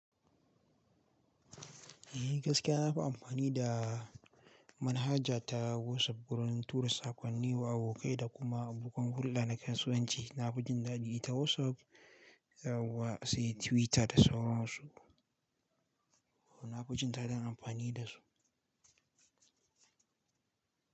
Eh gaskiya nafi amfani da manhaja ta WhatsApp wurin tura saƙonni wa abokai da kuma bukkun hulɗa na kasuwanci. Na fi jin daɗi ta WhatsApp yauwa sai Twitter da sauran su. Na fi jin daɗin amfani da su.